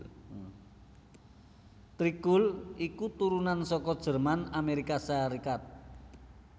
Tré Cool iku turunan saka Jerman Amerika Sarékat